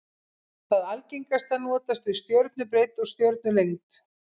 Það algengasta notast við stjörnubreidd og stjörnulengd.